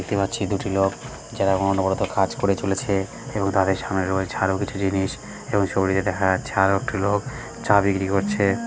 দেখতে পাচ্ছি দুটি লোক যারা অনবরত কাজ করে চলেছে-এ এবং তাদের সামনে রয়েছে আরো কিছু জিনিস এবং ছবিটিতে দেখা যাচ্ছে আরো একটি লোক চা বিক্রি করছে--